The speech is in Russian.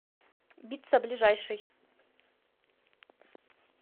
битца ближайший